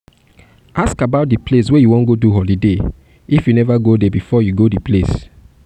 ask about di place wey you wan go do holiday if you nova go there before you go di place